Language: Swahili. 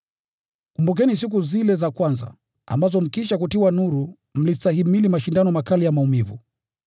Kumbukeni siku zile za kwanza, ambazo mkiisha kutiwa nuru mlistahimili mashindano makali ya maumivu.